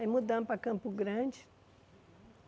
Aí mudamos para Campo Grande.